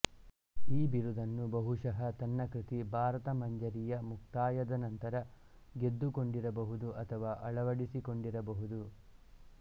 ಈ ಬಿರುದನ್ನು ಬಹುಶಃ ತನ್ನ ಕೃತಿ ಭಾರತಮಂಜರಿಯ ಮುಕ್ತಾಯದ ನಂತರ ಗೆದ್ದುಕೊಂಡಿರಬಹುದು ಅಥವಾ ಅಳವಡಿಸಿಕೊಂಡಿರಬಹುದು